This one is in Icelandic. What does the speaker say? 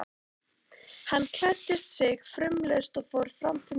Hann klæddi sig fumlaust og fór fram til morgunverðar.